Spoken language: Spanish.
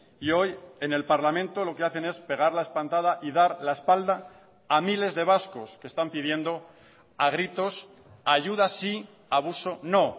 y hoy en el parlamento lo que hacen es pegar la espantada y dar la espalda a miles de vascos que están pidiendo a gritos ayuda sí abuso no